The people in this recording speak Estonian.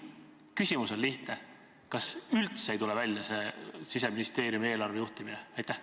Küsimus on lihtne: kas üldse ei tule välja see Siseministeeriumi eelarve juhtimine?